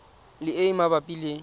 le e e mabapi le